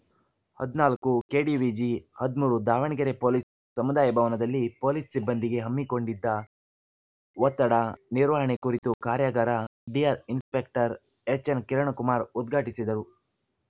ಹದಿನಾಲ್ಕು ಕೆಡಿವಿಜಿ ಹದಿಮೂರು ದಾವಣಗೆರೆ ಪೊಲೀಸ್‌ ಸಮುದಾಯ ಭವನದಲ್ಲಿ ಪೊಲೀಸ್‌ ಸಿಬ್ಬಂದಿಗೆ ಹಮ್ಮಿಕೊಂಡಿದ್ದ ಒತ್ತಡ ನಿರ್ವಹಣೆ ಕುರಿತು ಕಾರ್ಯಾಗಾರ ಡಿಆರ್‌ ಇನ್ಸಪೆಕ್ಟರ್‌ ಎಚ್‌ಎನ್‌ಕಿರಣಕುಮಾರ್‌ ಉದ್ಘಾಟಿಸಿದರು